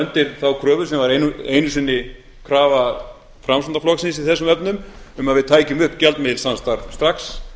undir þá kröfu sem var einu sinni krafa framsóknarflokksins í þessum efnum um að við tækjum upp gjaldmiðilssamstarf strax